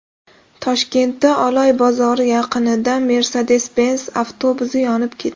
Toshkentda Oloy bozori yaqinida Mercedes-Benz avtobusi yonib ketdi .